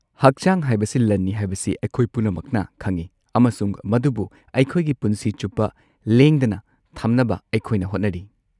ꯍꯛꯆꯥꯡ ꯍꯥꯏꯕꯁꯤ ꯂꯟꯅꯤ ꯍꯥꯏꯕꯁꯤ ꯑꯩꯈꯣꯏ ꯄꯨꯝꯅꯃꯛꯅ ꯈꯪꯏ, ꯑꯃꯁꯨꯡ ꯃꯗꯨꯕꯨ ꯑꯩꯈꯣꯏꯒꯤ ꯄꯨꯟꯁꯤ ꯆꯨꯞꯄ ꯂꯦꯡꯗꯅ ꯊꯝꯅꯕ ꯑꯩꯈꯣꯏꯅ ꯍꯣꯠꯅꯔꯤ꯫